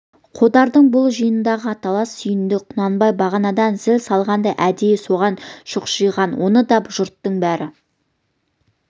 қодардың бұл жиындағы аталасы сүйіндік құнанбай бағанадан зіл салғанда әдейі соған шұқшиған оны да жұрттың бәрі